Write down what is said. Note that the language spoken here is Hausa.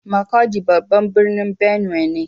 Makurdi babban birnin Benue ne.